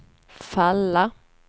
falla